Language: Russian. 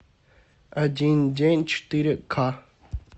один день четыре ка